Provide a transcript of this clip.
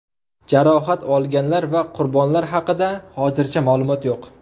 Jarohat olganlar va qurbonlar haqida hozircha ma’lumot yo‘q.